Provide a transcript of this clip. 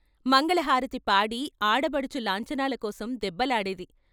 మంగళహారతి పాడి ఆడబడుచు లాంఛనాల కోసం దెబ్బలాడేది.